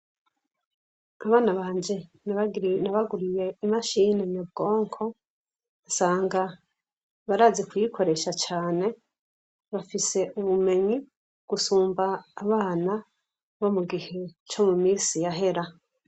Abana banje nabaguriye imashini nyabwonko, nsanga barazi kuyikoresha cane , bafise ubumenyi gusumba abana no mu gihe co mu misi yahera.